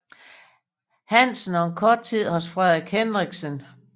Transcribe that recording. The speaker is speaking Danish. Hansen og en kort tid hos Frederik Hendriksen